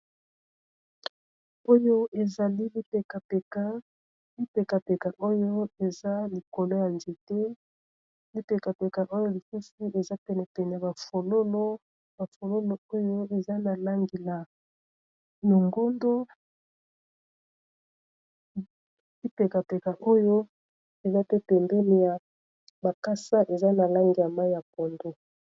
oyo ezali lipekapeka oyo eza likolo ya nzete lipekapeka oyo lisusi eza penepene bafololo oyo eza na langi na nongondolipekapeka oyo eza tete mdene ya makasa eza na langa mai ya pondu